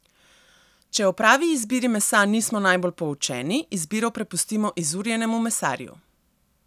Če o pravi izbiri mesa nismo najbolj poučeni, izbiro prepustimo izurjenemu mesarju.